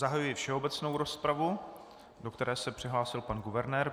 Zahajuji všeobecnou rozpravu, do které se přihlásil pan guvernér.